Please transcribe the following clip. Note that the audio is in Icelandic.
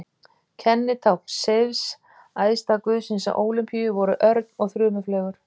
Kennitákn Seifs, æðsta guðsins á Ólympíu, voru örn og þrumufleygur.